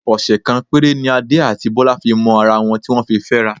Ọ̀sẹ̀ kan péré ni Adé àti Bọ́lá fi mọ ara wọn tí wọ́n fi fẹ́ra.